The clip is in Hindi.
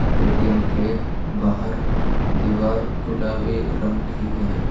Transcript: ए_टी_एम के बाहर दीवार गुलाबी रंग की है।